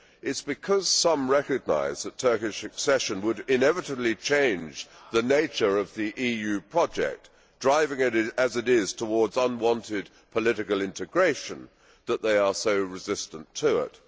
It is because some recognise that Turkish accession would inevitably change the nature of the EU project, driving as it is towards unwanted political integration, that they are so resistant to it.